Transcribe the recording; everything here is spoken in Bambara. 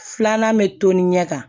Filanan bɛ to ni ɲɛ kan